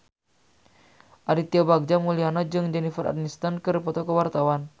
Aditya Bagja Mulyana jeung Jennifer Aniston keur dipoto ku wartawan